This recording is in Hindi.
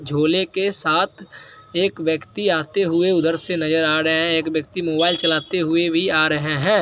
झोले के साथ एक व्यक्ति आते हुऐ उधर से नजर आ रहे है एक व्यक्ति मोबाइल चलाते हुये भी आ रहे है ।